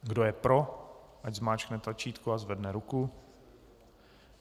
Kdo je pro, ať zmáčkne tlačítko a zvedne ruku.